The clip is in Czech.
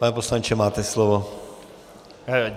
Pane poslanče, máte slovo.